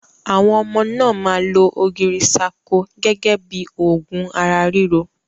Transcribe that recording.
Àwọn ọmọ náà máa lo ogirisako gẹ́gẹ́ bí òògùn ara ríro.